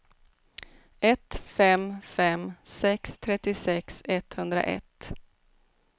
ett fem fem sex trettiosex etthundraett